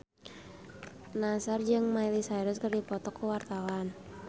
Nassar jeung Miley Cyrus keur dipoto ku wartawan